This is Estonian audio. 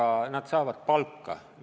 Ent nad saavad palka.